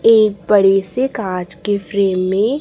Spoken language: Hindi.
एक बड़े से कांच के फ्रेम में--